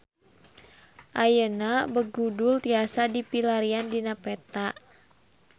Ayeuna Begudul tiasa dipilarian dina peta